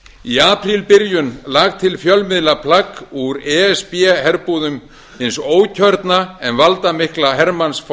í aprílbyrjun lak til fjölmiðla plagg úr e s b herbúðum hins ókjörna en valdamikla hermans